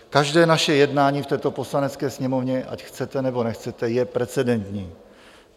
Každé naše jednání v této Poslanecké sněmovně, ať chcete, nebo nechcete, je precedentní.